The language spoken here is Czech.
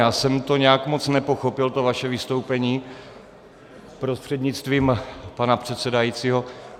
Já jsem to nějak moc nepochopil to vaše vystoupení prostřednictvím pana předsedajícího.